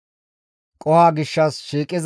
GODAY Muses hizgides,